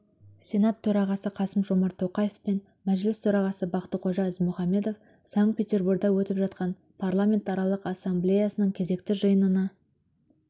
сенат төрағасы қасым-жомарт тоқаев пен мәжіліс төрағасы бақтықожа ізмұхамбетов санкт-петерборда өтіп жатқан парламентаралық ассамблеясының кезекті жиынына